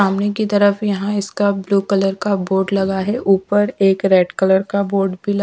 सामने की तरफ यहाँ इसका ब्लू कलर का बोर्ड लगा है ऊपर एक रेड कलर का बोर्ड भी ल--